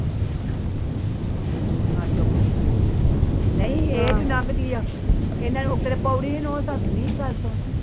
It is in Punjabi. ਆਹ ਚੁਪ ਕੀਤੀ ਰਹੀ ਨਹੀ ਇਹ ਜੋ ਲਾਂਘਦੀ ਆ ਨੀ ਗੱਲ ਸੁਣ